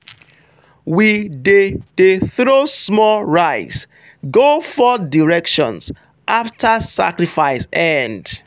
we dey dey throw small rice go four directions after sacrifice end.